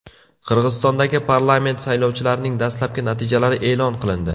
Qirg‘izistondagi parlament saylovlarining dastlabki natijalari e’lon qilindi.